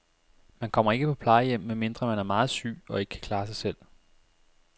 Man kommer ikke på plejehjem, medmindre man er meget syg og ikke kan klare sig selv.